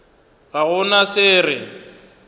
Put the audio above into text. ga go na se re